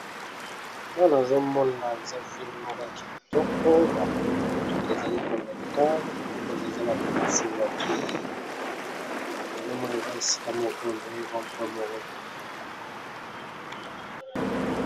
Awa nazomona za vile moko ya kitoko bamotuka ezali koleka koki kozaza la taxi vorture azomoniza esika moko de vampo mokomoi.